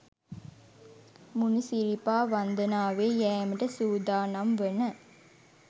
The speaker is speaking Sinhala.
මුණි සිරිපා වන්දනාවේ යෑමට සූදානම් වන